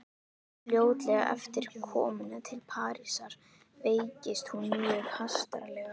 Fljótlega eftir komuna til Parísar veiktist hún mjög hastarlega.